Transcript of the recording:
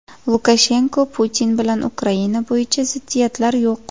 Lukashenko: Putin bilan Ukraina bo‘yicha ziddiyatlar yo‘q.